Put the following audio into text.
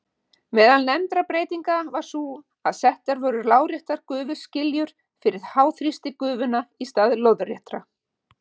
Meðal nefndra breytinga var sú að settar voru láréttar gufuskiljur fyrir háþrýstigufuna í stað lóðréttra.